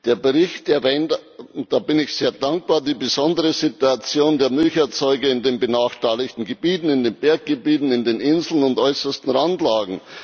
Der Bericht erwähnt und dafür bin ich sehr dankbar die besondere Situation der Milcherzeuger in den benachteiligten Gebieten, in den Berggebieten, auf den Inseln und in den äußersten Randlagen.